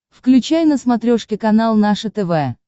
включай на смотрешке канал наше тв